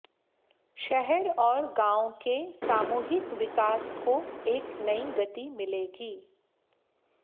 शहर और गांव के सामूहिक विकास को एक नई गति मिलेगी